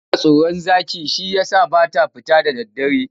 Tana tsoron zaki shi ya sa ba ta fita da daddare.